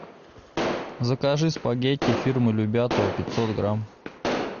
закажи спагетти фирмы любятово пятьсот грамм